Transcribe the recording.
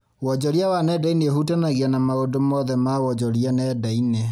Wonjoria wa nenda-inĩ ũhutanagia na maũndũ mothe ma wonjoria nenda-inĩ